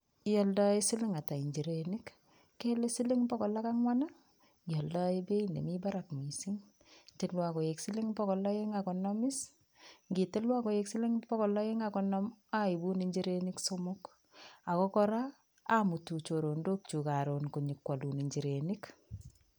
Ioldoen siling' ata njirenik? Kele siling' pokol ak ang'wan ii? Ioldoen beit nemi barak missing', tiluan koik siling' bokol oeng' ak konom is , nkitiluan koik siling' pokol oeng' ak konom oibun njirenik somok ako kora amutu choronokyuk koron konyokwolun njirenik.